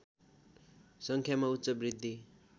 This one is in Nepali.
सङ्ख्यामा उच्च वृद्धि